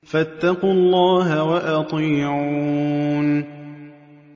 فَاتَّقُوا اللَّهَ وَأَطِيعُونِ